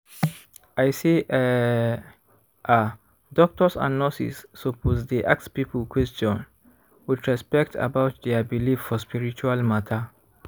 i say eeh ah doctors and nurses suppose dey ask people question with respect about dia believe for spiritual matter.